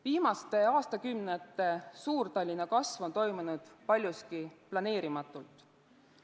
Viimaste aastakümnete Suur-Tallinna kasv on toimunud paljuski planeerimatult.